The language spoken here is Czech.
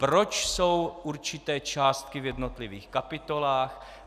proč jsou určité částky v jednotlivých kapitolách;